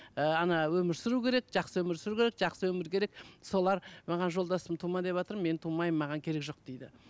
ы өмір сүру керек жақсы өмір сүру керек жақсы өмір керек солар маған жолдасым тума деватыр мен тумаймын маған керек жоқ дейді